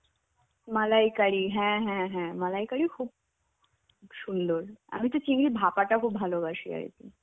মালাইকারি হ্যাঁ হ্যাঁ হ্যাঁ মালাইকারিও খুব সুন্দর. আমি তো চিংড়ির ভাঁপাটা খুব ভালোবাসি আর কি.